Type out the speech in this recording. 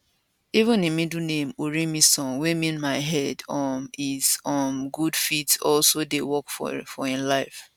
even im middle name orimisan wey mean my head um is um good fit also dey work for im life